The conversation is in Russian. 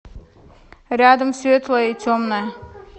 рядом светлое и темное